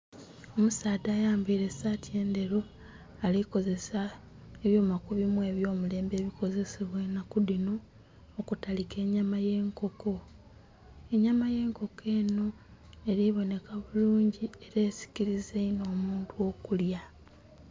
Omusaadha ayambaire esati endheru alikozesa ekyuma kubimu ebyo mulembe ebikozesebwa enaku dhino okutalika enyama yenkoko. Enyama yenkoko enho eri bonheka bulungi era esikiliza inho omuntu omkulya.